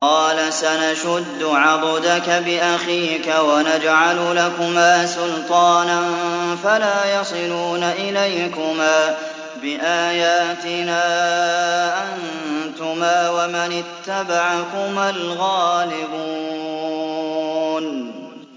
قَالَ سَنَشُدُّ عَضُدَكَ بِأَخِيكَ وَنَجْعَلُ لَكُمَا سُلْطَانًا فَلَا يَصِلُونَ إِلَيْكُمَا ۚ بِآيَاتِنَا أَنتُمَا وَمَنِ اتَّبَعَكُمَا الْغَالِبُونَ